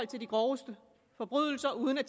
de groveste forbrydelser uden at